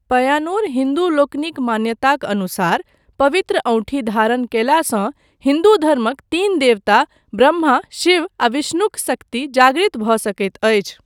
पय्यानूर हिन्दूलोकनिक मान्यताक अनुसार, पवित्र औँठी धारण कयलासँ हिन्दू धर्मक तीन देवता, ब्रह्मा, शिव आ विष्णुक शक्ति जागृत भऽ सकैत अछि।